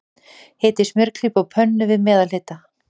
Hitið smjörklípu á pönnu, við meðalhita.